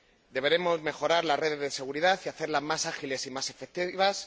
Deberemos mejorar las redes de seguridad y hacerlas más ágiles y más efectivas.